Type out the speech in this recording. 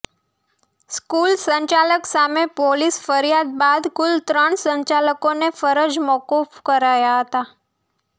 school સંચાલક સામે police ફ્રિયાદ બાદ કુલ ત્રણ સંચાલકોને ફરજ મોકૂફ કરાયા હતા